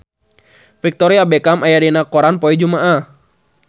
Victoria Beckham aya dina koran poe Jumaah